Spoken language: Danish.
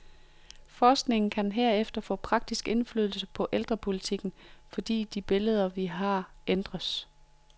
Forskningen kan herefter få praktisk indflydelse på ældrepolitikken, fordi de billeder, vi har, ændres.